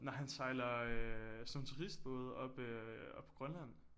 Nej han sejler øh sådan nogle turistbåde oppe oppe på Grønland